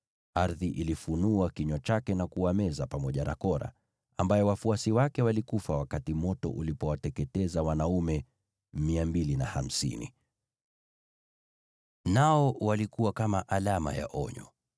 Ardhi ilifunua kinywa chake na kuwameza pamoja na Kora, ambaye wafuasi wake walikufa wakati moto ulipowateketeza wanaume 250. Nao walikuwa kama alama ya onyo.